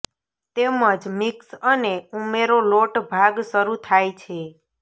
તેમજ મિક્સ અને ઉમેરો લોટ ભાગ શરૂ થાય છે